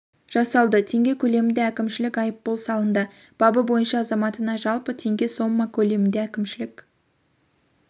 жасалды теңге көлемінде әкімшілік айыппұл салынды бабы бойынша азаматына жалпы теңге сомма көлемінде әкімшілік